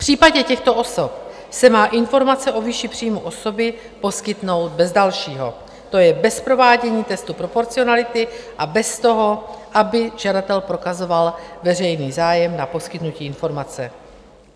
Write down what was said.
V případě těchto osob se má informace o výši příjmu osoby poskytnout bez dalšího, to je bez provádění textu proporcionality a bez toho, aby žadatel prokazoval veřejný zájem na poskytnutí informace.